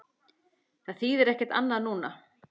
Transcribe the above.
Það þýðir ekkert annað núna.